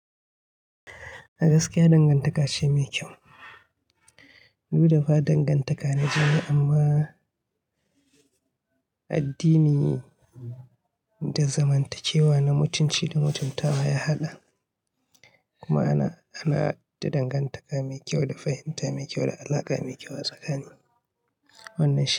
A gaskiya dangantaka ce mai kyau. Duk da ba dangantaka na jini amma, addini da zamantakewa na mutunci da mutuntawa ya haɗa. Kuma ana, ana da dangantaka mai kyau, da fahimta mai kyau, da alaƙa mai kyau a tsakani. Wannan shi.